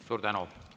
Suur tänu!